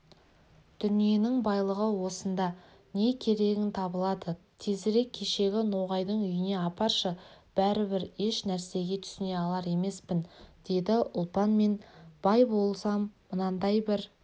дүниенің байлығы осында не керегің табылады тезірек кешегі ноғайдың үйіне апаршы бәрібір еш нәрсеге түсіне алар емеспін деді ұлпан мен бай болсам мынадай бір